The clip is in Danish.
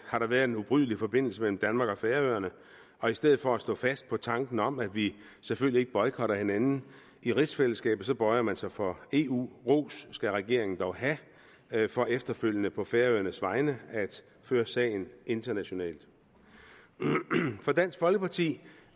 har der været en ubrydelig forbindelse mellem danmark og færøerne og i stedet for at stå fast på tanken om at vi selvfølgelig ikke boykotter hinanden i rigsfællesskabet så bøjer man sig for eu ros skal regeringen dog have have for efterfølgende på færøernes vegne at føre sagen internationalt for dansk folkeparti